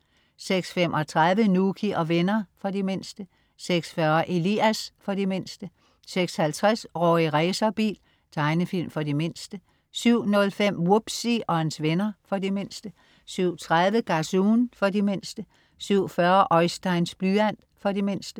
06.35 Nouky og venner. For de mindste 06.40 Elias. For de mindste 06.50 Rorri Racerbil. Tegnefilm for de mindste 07.05 Wubbzy og hans venner. For de mindste 07.30 Gazoon. For de mindste 07.40 Oisteins blyant. For de mindste